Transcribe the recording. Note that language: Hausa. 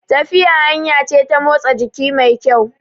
Tafiya hanya ce ta motsi jiki mai kyau